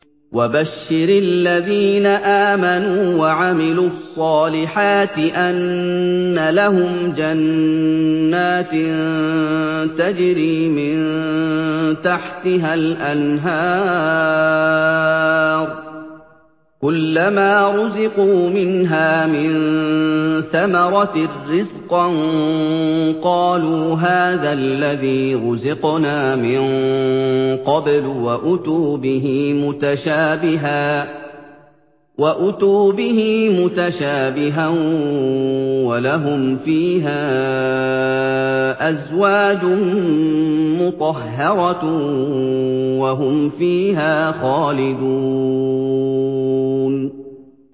وَبَشِّرِ الَّذِينَ آمَنُوا وَعَمِلُوا الصَّالِحَاتِ أَنَّ لَهُمْ جَنَّاتٍ تَجْرِي مِن تَحْتِهَا الْأَنْهَارُ ۖ كُلَّمَا رُزِقُوا مِنْهَا مِن ثَمَرَةٍ رِّزْقًا ۙ قَالُوا هَٰذَا الَّذِي رُزِقْنَا مِن قَبْلُ ۖ وَأُتُوا بِهِ مُتَشَابِهًا ۖ وَلَهُمْ فِيهَا أَزْوَاجٌ مُّطَهَّرَةٌ ۖ وَهُمْ فِيهَا خَالِدُونَ